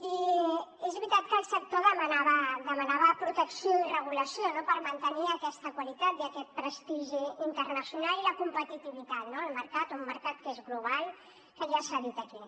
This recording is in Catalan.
i és veritat que el sector demanava protecció i regulació per mantenir aquesta qualitat i aquest prestigi internacional i la competitivitat al mercat un mercat que és global que ja s’ha dit aquí